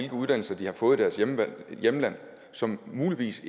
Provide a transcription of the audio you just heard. uddannelser de har fået i deres hjemland hjemland som muligvis